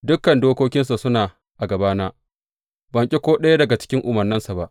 Dukan dokokinsa suna a gabana; ban ƙi ko ɗaya daga umarnansa ba.